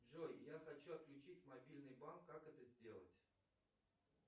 джой я хочу отключить мобильный банк как это сделать